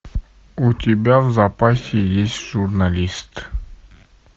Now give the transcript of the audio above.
у тебя в запасе есть журналист